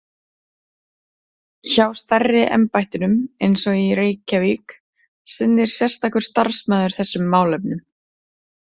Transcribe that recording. Hjá stærri embættunum, eins og í Reykjavík, sinnir sérstakur starfsmaður þessum málefnum.